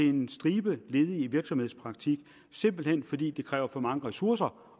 en stribe af ledige i virksomhedspraktik simpelt hen fordi det kræver for mange ressourcer